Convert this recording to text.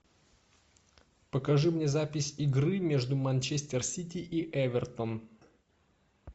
покажи мне запись игры между манчестер сити и эвертон